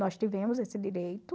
Nós tivemos esse direito.